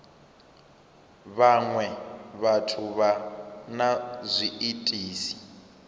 vhaṅwe vhathu vha na zwiitisi